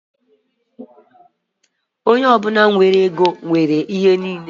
Onye ọ bụla nwere ego nwere ihe niile